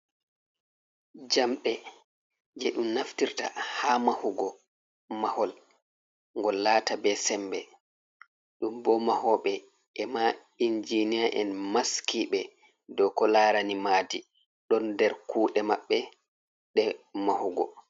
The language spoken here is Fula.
Jamde je ɗum naftirta ha mahugo mahol, ngol lata be sembe, ɗum bo mahooɓe e ma injinia en maskiɓe dou kolarani maadi don der kuɗe maɓɓe ɗe mahugo.